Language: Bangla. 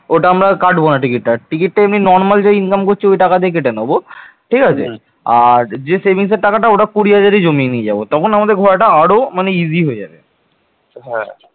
ওটা আমরা আর কাটবোনা টিকিটটা, টিকিটটা এমনি normal যা income করছি ওই টাকা দিয়ে কেটে নেবো ঠিক আছে? আর যে savings এর টাকাটা ওটা কুড়ি হাজারি জমিয়ে নিয়ে যাবো তখন আমাদের ঘোরাটা আরও মানে easy হয়ে যাবে